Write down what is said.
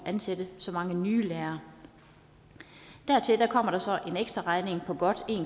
at ansætte så mange nye lærere dertil kommer så en ekstraregning på godt